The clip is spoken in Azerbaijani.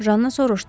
Janna soruşdu.